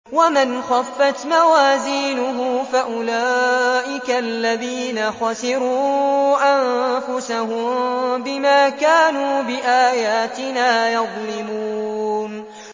وَمَنْ خَفَّتْ مَوَازِينُهُ فَأُولَٰئِكَ الَّذِينَ خَسِرُوا أَنفُسَهُم بِمَا كَانُوا بِآيَاتِنَا يَظْلِمُونَ